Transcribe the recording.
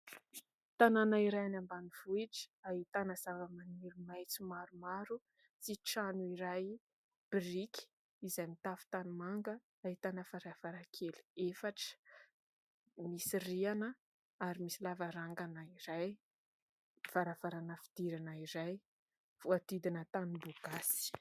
Tanàna iray any ambanivohitra, ahitana zava-maniry maitso maromaro sy trano iray, biriky izay mitafo tanimanga, ahitana varavarankely efatra misy rihana ary misy lavarangana iray, varavarana fidirana iray voahodidina tamboho gasy.